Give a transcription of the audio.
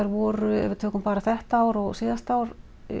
voru ef við tökum þetta ár og síðasta ár